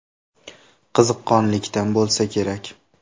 Qiziqqonlikdan bo‘lsa kerak.